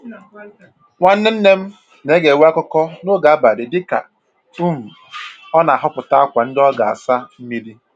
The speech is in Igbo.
Nwanne nne m na-egewe akụkọ n'oge abalị dịka um ọ na-ahọpụta akwa ndị ọ ga-asa mmiri